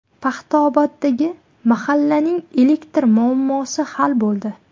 Paxtaoboddagi mahallaning elektr muammosi hal bo‘ldi.